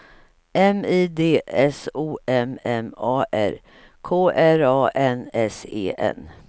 M I D S O M M A R K R A N S E N